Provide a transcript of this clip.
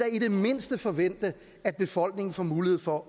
i det mindste forvente at befolkningen får mulighed for